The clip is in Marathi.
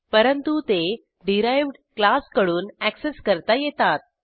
परंतु ते डिराइव्ह्ड क्लास कडून अॅक्सेस करता येतात